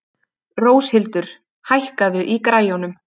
Róshildur, hækkaðu í græjunum.